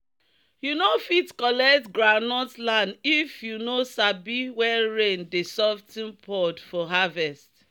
"you no fit collect groundnut land if you no sabi when rain dey sof ten pod for harvest."